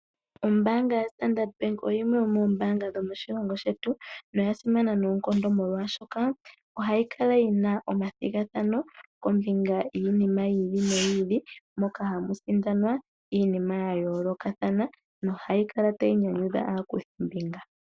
Ombaanga yoStandard Bank oyimwe yomoombaanga dhomoshilongo shetu Namibia oyasimana noonkondo molwashoka,